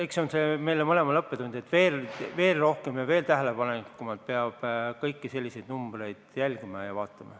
Eks see on meile mõlemale õppetund, et veel rohkem, veel tähelepanelikumalt peab kõiki selliseid numbreid jälgima.